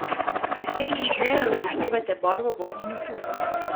Pri slednjih zmeraj upoštevajte barvo, vonj in okus.